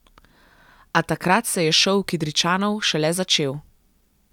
A takrat se je šov Kidričanov šele začel.